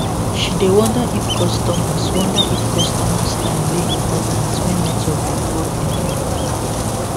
she dey wonder if customers wonder if customers time dey important when network dey fall anyhow